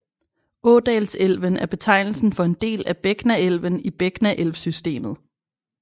Ådalselven er betegnelsen for en del af Begnaelven i Begnaelvsystemet